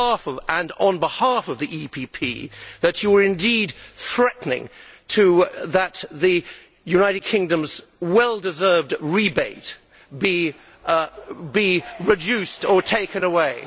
Group and on behalf of the EPP Group, that you were indeed threatening that the United Kingdom's well deserved rebate be reduced or taken away?